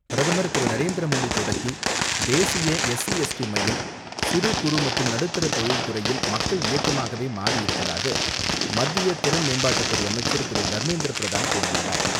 பிரதமர் திரு நரேந்திரமோடி தொடக்கி வைத்த தேசிய எஸ்சி எஸ்டி மையம், சிறு குறு நடுத்தர தொழில்துறையில் மக்கள் இயக்கமாகவே மாறி இருப்பதாகவே மத்திய திறன் மேம்பாட்டுத்துறை அமைச்சர் திரு.தர்மேந்திர பிரதான் கூறியுள்ளார்.